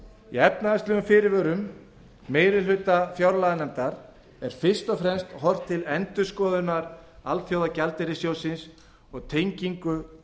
í efnahagslegum fyrirvörum meiri hluta fjárlaganefndar er fyrst og fremst horft til endurskoðunar alþjóðagjaldeyrissjóðsins og tengingar